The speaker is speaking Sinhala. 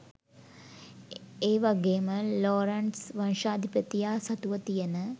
ඒවගේම ලෝරන්ට්ස් වංශාධිපතියා සතුව තියෙන